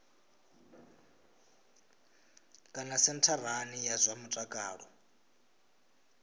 kana sentharani ya zwa mutakalo